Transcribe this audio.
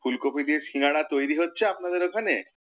ফুলকফি দিয়ে সিঙ্গারা তৈরি হচ্ছে আপনাদের ওখানে?